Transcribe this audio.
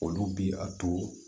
Olu bi a to